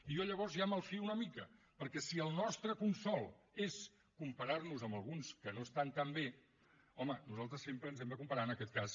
i jo llavors ja me’n malfio una mica perquè si el nostre consol és comparar nos amb alguns que no estan tan bé home nosaltres sempre ens hem de comparar en aquest cas